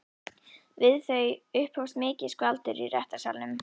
Við þau upphófst mikið skvaldur í réttarsalnum.